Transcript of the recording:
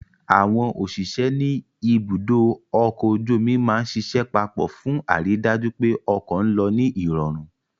Àwọn òṣìṣẹ́ ní ibùdó ọkọ̀ ojú omi máa ń ṣiṣẹ́ papọ̀ fún àrídájú pé ọkọ̀ ń lọ ní ìrọ̀rùn